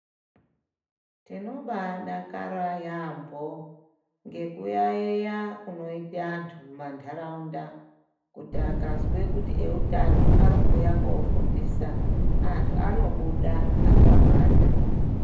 Tinoba dakara yaamho ngekuyaiya kunoita antu mumanharaunda. Kuti akazwe kuti eutano arikuuya kofundisa antu anobuda akawanda.